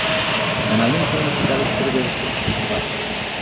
Kanalning suvini shunchalik tushirib berishdi, rahmat.